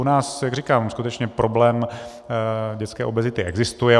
U nás, jak říkám, skutečně problém dětské obezity existuje.